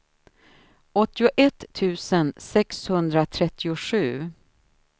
åttioett tusen sexhundratrettiosju